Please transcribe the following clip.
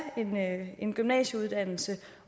en gymnasieuddannelse